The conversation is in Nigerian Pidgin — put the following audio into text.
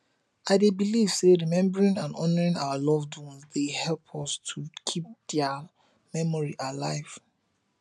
i dey believe say remembering and honouring our loved ones dey help us to keep dia memory alive